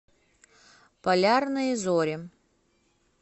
полярные зори